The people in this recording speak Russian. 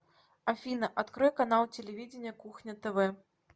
афина открой канал телевидения кухня тв